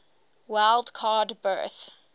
wild card berth